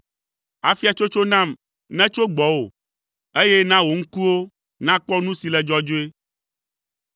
Afiatsotso nam netso gbɔwò, eye na wò ŋkuwo nakpɔ nu si le dzɔdzɔe.